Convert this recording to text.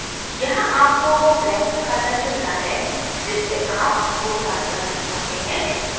यहाँ आपको वो बैंक खाता चुनना है जिससे आप भुगतान करना चाहते हैं